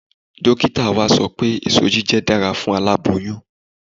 Dókítà wa sọ pé ẹ̀so jíjẹ dára fún aláboyún